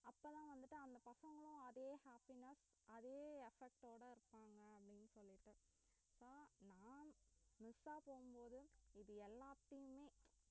அப்ப தான் வந்துட்டு அந்த பசங்களும் அதே happiness அதே effect ஓட இருப்பாங்க அப்படினு சொல்லிட்டு நான் miss அ போகும் போது இது எல்லாத்தையுமே